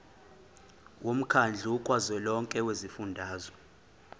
womkhandlu kazwelonke wezifundazwe